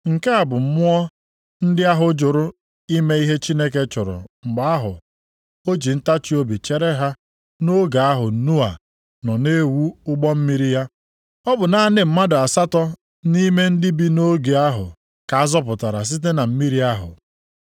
Nke a bụ mmụọ ndị ahụ jụrụ ime ihe Chineke chọrọ mgbe ahụ o ji ntachiobi chere ha nʼoge ahụ Noa nọ na-ewu ụgbọ mmiri ya. Ọ bụ naanị mmadụ asatọ nʼime ndị bi nʼoge ahụ ka a zọpụtara site na mmiri ahụ.